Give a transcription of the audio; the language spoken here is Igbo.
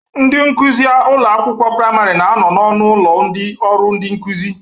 Ndị nkuzi ụlọ akwụkwọ praịmarị na-anọ n'ọnụ ụlọ ndị ọrụ ndi nkụzi